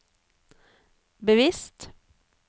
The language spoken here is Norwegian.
bevisst